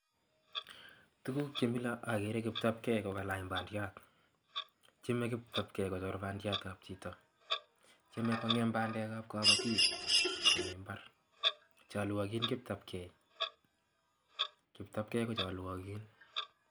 tukuk che mila agere kiptapkei kokalany pandait. tieme kiptapkei kochor pandiat ap chito ,tieme kongem pandek ap kapatik chalwagin kiptapkei. kiptapkei ko chalwagin.